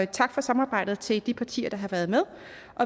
tak for samarbejdet til de partier der har været med